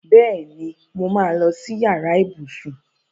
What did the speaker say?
Bẹẹni, mo máa lọ si yàrá ibùsùn